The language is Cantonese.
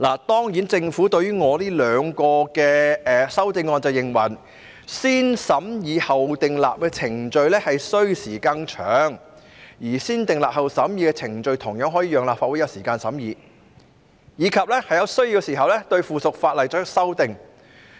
當然，對於我這兩項修正案，政府表示"先審議後訂立"的程序需時更長，而"先訂立後審議"的程序同樣可以讓立法會有時間審議及在有需要時對附屬法例作出修訂。